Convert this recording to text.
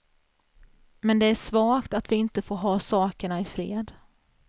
Men det är svagt att vi inte får ha sakerna i fred.